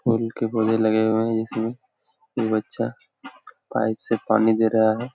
फूल के पौधे लगे हुए है इसमें ये बच्चा पाइप से पानी दे रहा है।